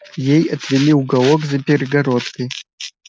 ей отвели уголок за перегородкой